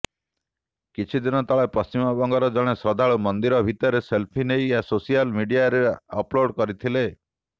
କିଛିଦିନ ତଳେ ପଶ୍ଚିମବଙ୍ଗର ଜଣେ ଶ୍ରଦ୍ଧାଳୁ ମନ୍ଦିର ଭିତରେ ସେଲ୍ଫି ନେଇ ସୋସିଆଲ ମିଡିଆରେ ଅପ୍ଲୋଡ୍ କରିଥିଲେ